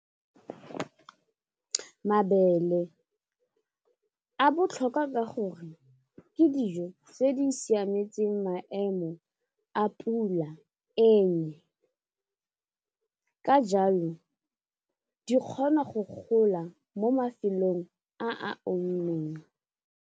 Mabele a botlhokwa ka gore ke dijo tse di siametseng maemo a pula ka jalo di kgona go gola mo mafelong a a omileng.